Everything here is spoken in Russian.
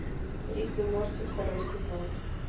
рик и морти второй сезон